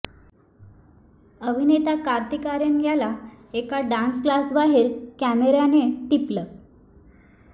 अभिनेता कार्तिक आर्यन याला एका डान्स क्लासबाहेर कॅमेऱ्यानं टिपलं